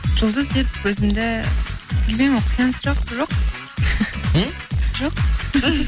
жұлдыз деп өзімді білмеймін ол қиын сұрақ жоқ м жоқ